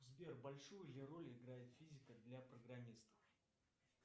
сбер большую ли роль играет физика для программистов